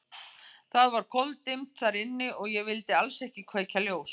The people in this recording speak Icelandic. Það var koldimmt þar inni og ég vildi alls ekki kveikja ljós.